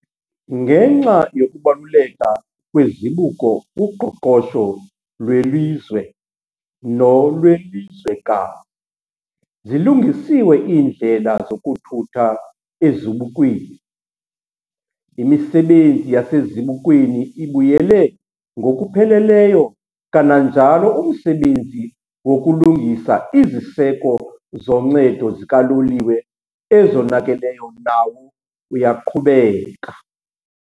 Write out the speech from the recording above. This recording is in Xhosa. Ngenxa yokubaluleka kwezibuko kuqoqosho lwelizwe nolwelizwekazi, zilungisiwe iindlela zokuthutha ezibukweni, imisebenzi yasezibukweni ibuyele ngokupheleleyo kananjalo umsebenzi wokulungisa iziseko zoncedo zikaloliwe ezonakeleyo nawo uyaqhubeka.